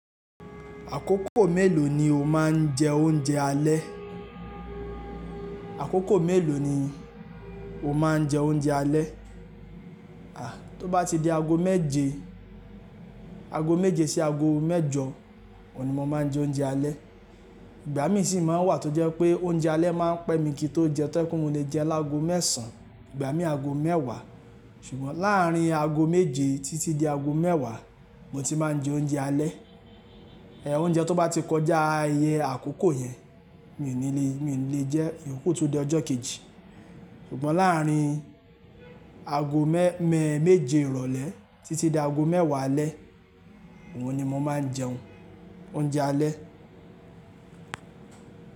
Àkókò mélòó ni o máa ń jẹ oúnjẹ alẹ́? Àkókò mélòó ni o máa ń jẹ oúnjẹ alẹ́? À, tó bá ti di ago méje, ago méje sí ago mẹ́jọ, òní mo máa ń jẹ oúnjẹ alẹ́. Ìgbà míi sì máa ń wà tó jẹ́ pé oúnjẹ alẹ́ máa ń pẹ́ mi kí n tó jẹ, tó ẹkún mi le jẹ lágo mẹ́sàn-án, ìgbà míi ago mẹ́wàá. Ṣùgbọ́n láàrín ago méje títí dé ago mẹ́wàá, mo ti máa ń jẹ oúnjẹ alẹ́. Ẹ, oúnjẹ tó bá ti kọjá iye àkókò yẹn, mi ò ní le, mi ò lè jẹ ẹ, iyoku tun di ọjọ́ kejì. Ṣùgbọ́n láàrín ago mẹ́, mẹ́, méje ìrọ̀lẹ́ títí dé ago mẹ́wàá alẹ́, òun ni mo máa ń jẹun, oúnjẹ alẹ́.